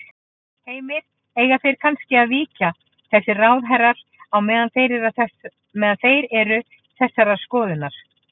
Heimir: Eiga þeir þá kannski að víkja þessir ráðherrar á meðan þeir eru þessarar skoðunar?